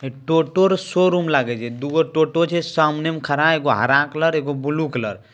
हे टोटो रे शोरूम लागे छै दुगो टोटो छै सामने में खड़ा एगो हरा कलर एगो ब्लू कलर ।